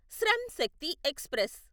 Shram Shakti express